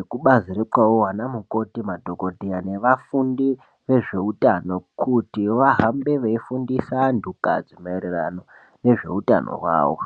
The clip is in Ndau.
ekubazi rekwavo ana mukoti madhokoteya nevafundi vezveurano kuti vahambe veifundisa antukadzi maererano nezveutano hwavo .